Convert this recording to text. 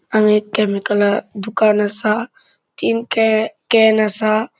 हांगा एक केमिकल आ दुकान असा तीन कॅन असा.